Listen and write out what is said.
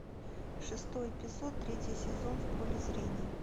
шестой эпизод третий сезон в поле зрения